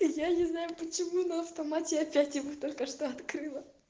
я не знаю почему на автомате опять его только что открыла